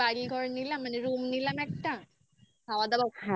সমুদ্রের ধারে বাড়ি ঘর নিলাম. মানে room নিলাম একটা খাবার দাবার একটা